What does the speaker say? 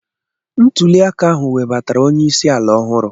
Ntụli aka ahụ webatara onye isi ala ọhụrụ.